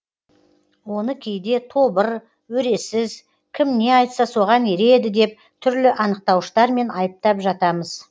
оны кейде тобыр өресіз кім не айтса соған ереді деп түрлі анықтауыштармен айыптап жатамыз